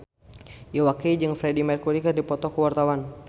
Iwa K jeung Freedie Mercury keur dipoto ku wartawan